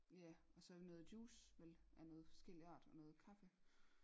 Ja og så noget juice vel af noget forskellig art og noget kaffe